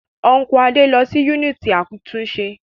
Ọ́nkùlù Adé lọ sí yúnìtì àtúnṣe